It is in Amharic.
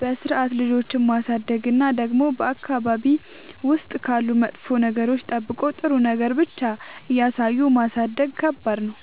በስርዓት ልጆችን ማሳደግ እና ደግሞ በአካባቢ ውስጥ ካሉ መጥፎ ነገሮች ጠብቆ ጥሩ ነገር ብቻ እያሳዩ ማሳደግ ከባድ ነው።